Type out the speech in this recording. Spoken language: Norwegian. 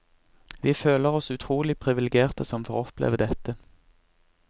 Vi føler oss utrolig priviligerte som får oppleve dette.